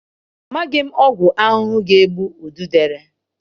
Amaghị ọgwụ ahụhụ ga-egbu ududele.